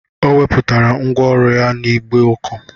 Ọ wepụtara ngwá ọrụ ya n'igbe ọkụ